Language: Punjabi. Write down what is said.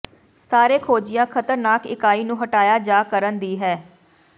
ਸਾਰੇ ਖੋਜਿਆ ਖ਼ਤਰਨਾਕ ਇਕਾਈ ਨੂੰ ਹਟਾਇਆ ਜਾ ਕਰਨ ਦੀ ਹੈ